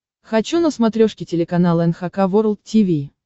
хочу на смотрешке телеканал эн эйч кей волд ти ви